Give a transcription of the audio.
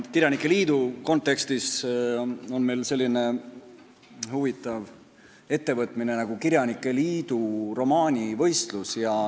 Meil on üks selline huvitav ettevõtmine nagu kirjanike liidu romaanivõistlus.